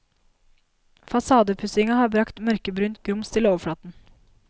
Fasadepussinga har brakt mørkebrunt grums til overflaten.